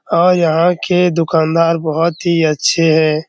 और यहाँ के दुकानदार बहुत ही अच्छे हैं।